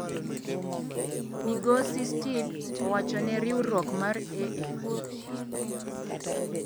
, migosi Steed owacho ne riwruok mar AFP.